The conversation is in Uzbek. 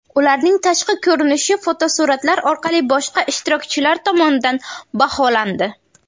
Ularning tashqi ko‘rinishi fotosuratlar orqali boshqa ishtirokchilar tomonidan baholandi.